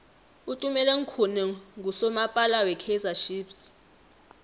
utumeleng khune nqusomapala we kaizer chiefs